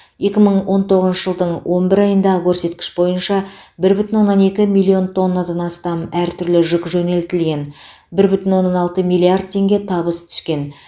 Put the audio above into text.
екі мың он тоғызыншы жылдың он бір айындағы көрсеткіш бойынша бір бүтін оннан екі миллион тоннадан астам әртүрлі жүк жөнелтілген бір бүтін оннан алты миллиард теңге табыс түскен